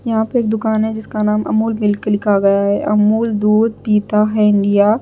यहां पे एक दुकान है जिसका नाम अमूल मिल्क लिखा गया है अमूल दूध पीता है इंडिया .